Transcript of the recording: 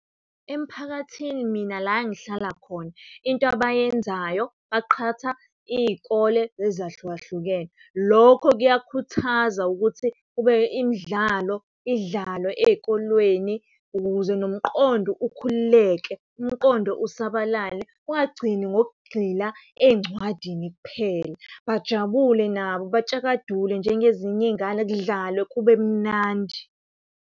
Emphakathini mina la engihlala khona into abayenzayo baqhatha iy'kole ezahlukahlukene. Lokho kuyakhuthaza ukuthi kube imidlalo idlalwe ey'kolweni ukuze nomqondo ukhululeke, umqondo usabalale ungagcini ngokugxila ey'ncwadini kuphela. Bajabule nabo batshakadule njengezinye iy'ngane kudlalwe kube mnandi.